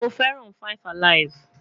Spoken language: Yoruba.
Mo feran 5 alive